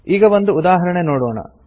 ಈಗ ಒಂದು ಉದಾಹರಣೆ ನೋಡೋಣ